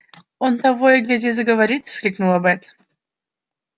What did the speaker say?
он того и гляди заговорит воскликнула бэт